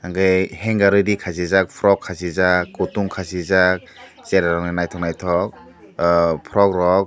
tai hanger ready khasijak cherai rok ni nythok nythok frog rog.